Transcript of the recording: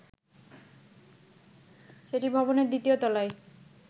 সেটি ভবনের দ্বিতীয় তলায়